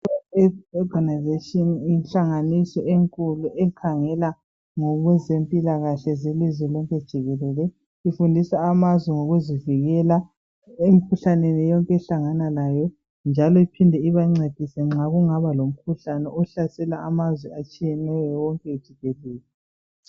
I World Health Organisation yinhlanganiso enkulu ekhangela ngokwezempilakahle zelizwe lonke jikelele. Ifundisa amazwe ngokuzivikela emikhuhlaneni wonke ehlangana layo njalo iphinde ibancedise nxa kungaba lomkhuhlane ohlasela amazwe atshiyeneyo wonke jikelele.